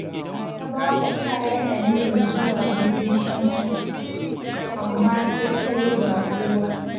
Tabawa ta yi aniyar zuwa gidan Shamsu, amma sai ta yi baƙuwa